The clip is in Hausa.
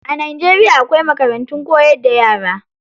A Najeriya akwai makarantun koyar da yara.